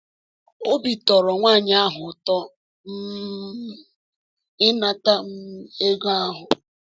Obi tọrọ nwaanyị ahụ ụtọ um um ịnata um ego ahụ.